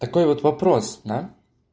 такой вот вопрос да